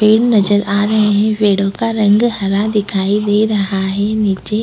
पेड़ नजर आ रहे हैं पेड़ों का रंग हरा दिखाई दे रहा है नीचे --